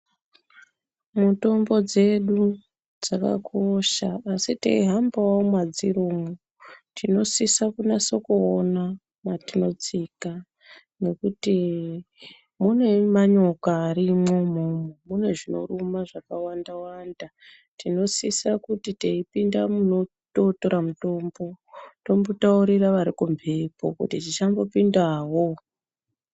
Mutombo dzedu dzakakosha asi teihambawo mwadziri umwo tinosisa kunase kuona matinotsika nekuti mune manyoka arimwo umwomwo, mune zvinoruma zvakawanda wanda tinosisa kuti teipinda munototora mutombo tombotaurira vari kumbepo kuti tichambopindawo.